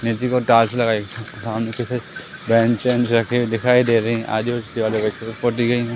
दिखाई दे रहीं हैं ।